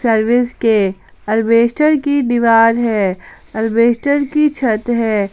Service के asbestos की दीवाल है अल्बेस्टर की छत है।